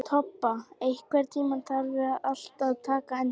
Tobba, einhvern tímann þarf allt að taka enda.